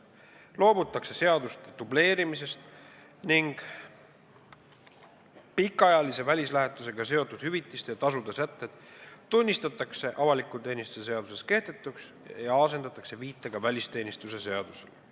Loobutakse seaduste dubleerimisest ning pikaajalise välislähetusega seotud hüvitiste ja tasude sätted tunnistatakse avaliku teenistuse seaduses kehtetuks ja asendatakse viitega välisteenistuse seadusele.